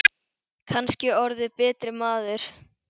Kannski orðið betri maður.